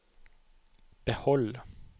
behold